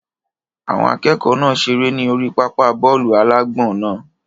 Àwọn akẹ́kọ̀ọ́ náà seré ní orí pápá bọ́ọ̀lù-alágbọ̀n náà